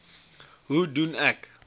hoe doen ek